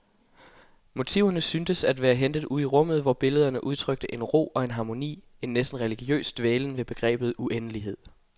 Motiverne syntes at være hentet ude i rummet, hvor billederne udtrykte en ro og en harmoni, en næsten religiøs dvælen ved begrebet uendelighed.